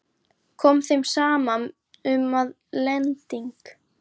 Kom þeim saman um, að lending